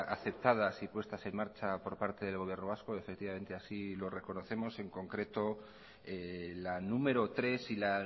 aceptadas y puestas en marcha por parte del gobierno vasco y efectivamente así lo reconocemos y en concreto la número tres y la